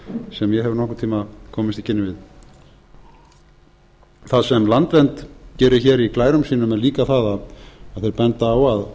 nokkurn tíma komist í kynni við það sem landvernd gerir hér í glærum sínum er líka það að þeir benda á